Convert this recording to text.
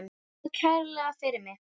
Þakka kærlega fyrir mig.